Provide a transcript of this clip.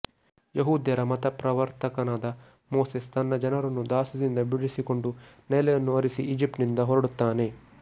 ಯಹೂದ್ಯರ ಮತಪ್ರವರ್ತಕನಾದ ಮೋಸೆಸ್ ತನ್ನ ಜನರನ್ನು ದಾಸ್ಯದಿಂದ ಬಿಡಿಸಿಕೊಂಡು ನೆಲೆಯನ್ನು ಅರಸಿ ಈಜಿಪ್ಟಿನಿಂದ ಹೊರಡುತ್ತಾನೆ